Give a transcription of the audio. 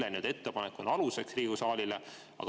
Ehk kelle ettepanek on aluseks Riigikogu saalile?